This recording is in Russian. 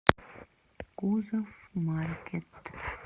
кузов маркет